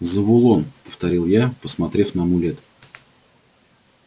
завулон повторил я посмотрев на амулет